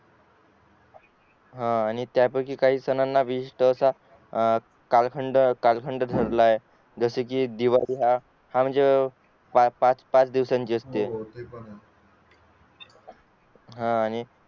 हा आणि त्या पैकी काही सणांना विशिष्ट असा कालखंड धरला आहे जसे कि दिवाळी हा ह्म्णजे पाच दिवसांची असते हा आणि